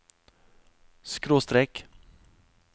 skråstrek